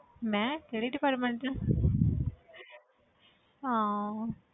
ਮੈਂ ਕਿਹੜੇ department 'ਚ ਹਾਂ ਹਾਂ।